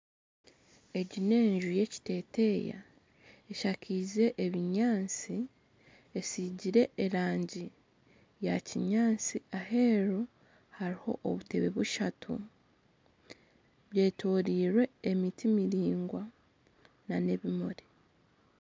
Egi n'enju yekiteteeya eshakaize ebinyaatsi esigire erangi eya kinyaatsi aheeru hariho obutebe bushatu bwetoreirwe emiti miraingwa nana ebimuri